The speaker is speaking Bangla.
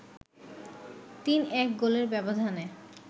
৩-১ গোলের ব্যবধানে